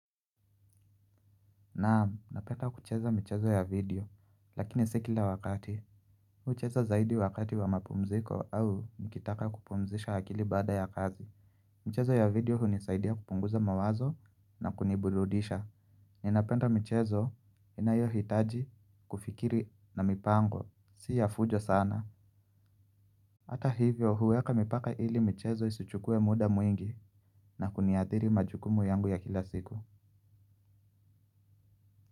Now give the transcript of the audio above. Naam, napenda kucheza michezo ya video, lakini si kila wakati. Hucheza zaidi wakati wa mapumziko au nikitaka kupumzisha akili baada ya kazi. Mchezo ya video hunisaidia kupunguza mawazo na kuniburudisha. Ninapenda michezo inayohitaji kufikiri na mipango. Si ya fujo sana. Hata hivyo huweka mipaka ili michezo isichukue muda mwingi na kuniathiri majukumu yangu ya kila siku.